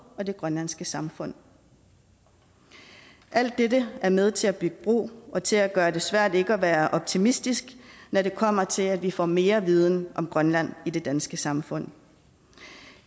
og det grønlandske samfund alt dette er med til at bygge bro og til at gøre det svært ikke at være optimistisk når det kommer til at vi får mere viden om grønland i det danske samfund